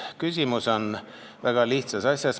Küsimus on väga lihtsas asjas.